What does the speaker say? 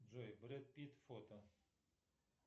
джой бред пит фото